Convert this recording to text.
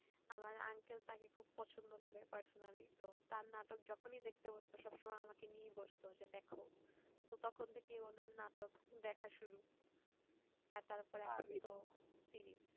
আমার uncle খুব পছন্দ করে personally তো তার নাটক যখন ই দেখতে বসতো, সব সময় আমাকে নিয়ে বসতো দেখো তো তখন থেকেই উনার নাটক দেখা শুরু আর তারপরে